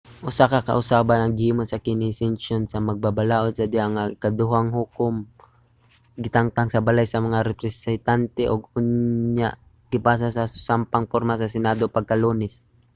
usa ka kausaban ang gihimo sa kini nga sesyon sa magbabalaod sa diha nga ang ikaduhang hukom gitangtang sa balay sa mga representante ug unya gipasa sa susamang porma sa senado pagka-lunes